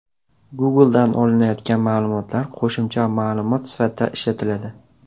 Google’dan olinayotgan ma’lumotlar qo‘shimcha ma’lumot sifatida ishlatiladi.